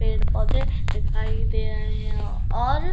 पेड़ पौधे दिखाई दे रहे हैं और --